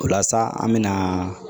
O la sa an mɛna